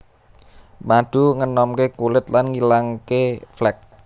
Madu ngenomké kulit lan ngilangake flek